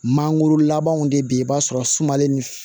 Mangoro labanw de bɛ yen i b'a sɔrɔ sumalen ni